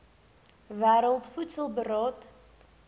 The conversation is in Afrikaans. wêreld voedsel beraad